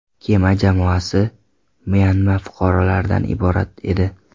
Kema jamoasi Myanma fuqarolaridan iborat edi.